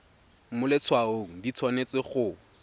mo letshwaong di tshwanetse go